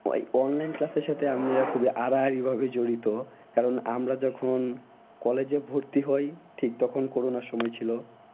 online class এর সাথে আমরা খুবই আড়াআড়ি ভাবে জড়িত। কারণ আমরা যখন college এ ভর্তি হই ঠিক তখন করোনার সময় ছিল।